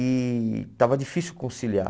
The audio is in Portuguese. E estava difícil conciliar.